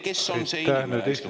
Kes on see inimene?